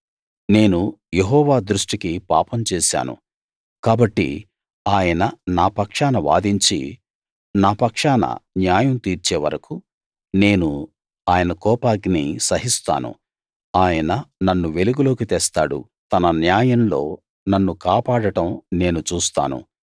నేను యెహోవా దృష్టికి పాపం చేశాను కాబట్టి ఆయన నా పక్షాన వాదించి నా పక్షాన న్యాయం తీర్చే వరకూ నేను ఆయన కోపాగ్ని సహిస్తాను ఆయన నన్ను వెలుగులోకి తెస్తాడు ఆయన తన న్యాయంలో నన్ను కాపాడడం నేను చూస్తాను